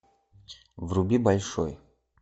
вруби большой